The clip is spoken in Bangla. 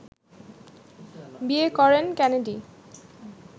বিয়ে করেন কেনেডি